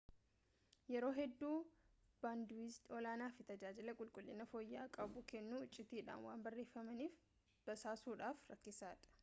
yeroo hedduu baandiwiidzii olaanaa fi tajaajila qulqullina fooyya'aa qabu kennu iccitiidhaan waan barreeffamaniif basaasuudhaaf rakkisoodha